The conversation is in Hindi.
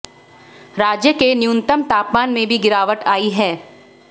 राज्य के न्यूनतम तापमान में भी गिरावट आई है